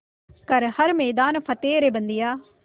कर हर मैदान फ़तेह रे बंदेया